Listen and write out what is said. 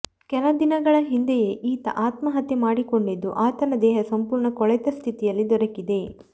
ಕೆಲ ದಿನಗಳ ಹಿಂದೆಯೇ ಈತ ಆತ್ಮಹತ್ಯೆ ಮಾಡಿಕೊಂಡಿದ್ದು ಆತನ ದೇಹ ಸಂಪೂರ್ಣ ಕೊಳೆತ ಸ್ಥಿತಿಯಲ್ಲಿ ದೊರಕಿದೆ